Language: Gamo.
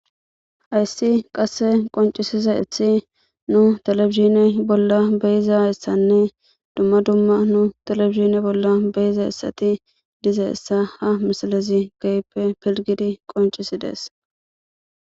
hayssi qasse qoncisisa ethi nu telebizine bolla beyiza yssanne dumma dumma nu teleizine bolla beyiza essati diza essa ha misalezi gayippe pilgidi qoncisi dees